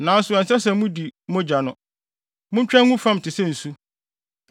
Nanso ɛnsɛ sɛ mudi mogya no. Muntwa ngu fam te sɛ nsu.